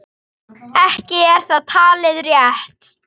Ekki er það talið rétt.